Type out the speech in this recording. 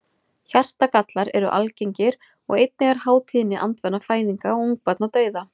Hjartagallar eru algengir og einnig er há tíðni andvana fæðinga og ungbarnadauða.